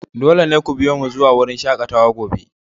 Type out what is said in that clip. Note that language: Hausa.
Dole ne ku biyo mu zuwa wurin shakatawa gobe!